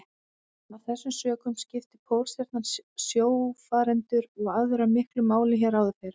Af þessum sökum skipti Pólstjarnan sjófarendur og aðra miklu máli hér áður fyrr.